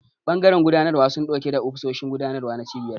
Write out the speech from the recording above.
Bangaren gudanarwa suna dauke da ofisoshin gudanarwa na cibiyar.